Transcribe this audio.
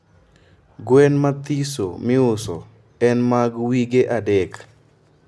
gwen mathiso miuso en mag wige adek